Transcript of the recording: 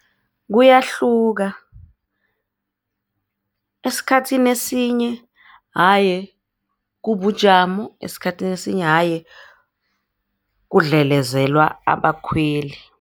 Kuyahluka esikhathini esinye haye kubujamo, esikhathini esinye haye kudlelezelwa abakhweli.